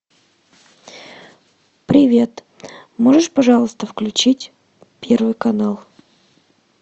привет можешь пожалуйста включить первый канал